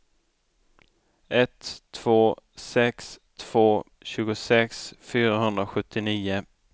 ett två sex två tjugosex fyrahundrasjuttionio